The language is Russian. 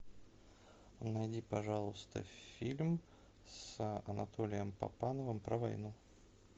найди пожалуйста фильм с анатолием папановым про войну